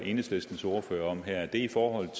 enhedslistens ordfører om her er i forhold